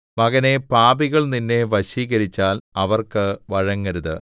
മകനേ പാപികൾ നിന്നെ വശീകരിച്ചാൽ അവർക്ക് വഴങ്ങരുത്